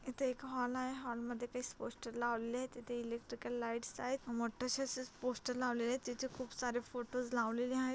इथं एक हॉल आहे हॉल मध्ये एक काही पोस्टर्स लावलेले आहेत तिथे इलेक्ट्रिकल लाइट्स आहेत मोठशा असच पोस्टर्स लावलेले आहेत तेथे खूप सारे फोटोज लावलेले आहेत.